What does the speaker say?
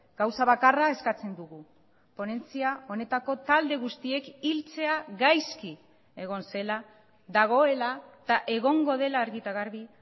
gauza bakarra eskatzen dugu ponentzia honetako talde guztiek hiltzea gaizki egon zela dagoela eta egongo dela argi eta garbi